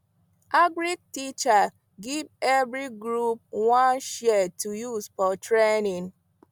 agric teacher give every group one shears to use for training